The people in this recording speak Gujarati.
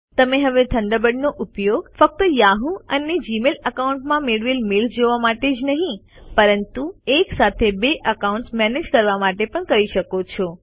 તમે હવે થન્ડરબર્ડનો ઉપયોગ ફક્ત યાહુ અને જીમેઇલ એકાઉન્ટ્સમાં મેળવેલ મેઈલ્સ જોવા માટે જ નહી પરંતુ એકસાથે બે એકાઉન્ટ્સ મેનેજ કરવા માટે પણ કરી શકો છો